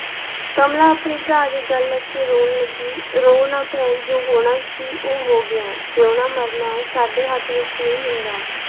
ਕਮਲਾ ਆਪਣੇ ਭਰਾ ਦੀ ਗਲ ਲੱਗ ਕੇ ਰੌਣ ਲੱਗੀ, ਰੌ ਨਾ ਭੈਣ ਜੋ ਹੋਣਾ ਸੀ, ਉਹ ਹੋ ਗਿਆ, ਜਿਓਣਾ ਮਰਨਾ ਸਾਡੇ ਹੱਥ ਵਿੱਚ ਨਹੀਂ ਹੁੰਦਾ।